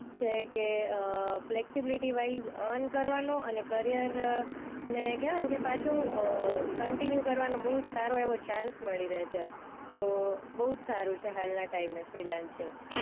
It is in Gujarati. છે કે અ ફ્લેક્સિબિલિટીવાઇઝ અર્ન કરવાનું અને કરિયર ને કહેવાય ને કે પાછું અ કંટીન્યુ કરવાનું બહુ સારું એવો ચાન્સ મળી રહે છે તો બહુ જ સારું છે હાલના ટાઈમે ફ્રીલેન્સીંગ